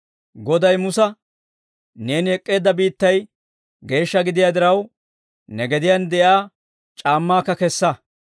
«Goday Musa, ‹Neeni ek'k'eedda biittay geeshsha gidiyaa diraw, ne gediyaan de'iyaa c'aammaakka kessa.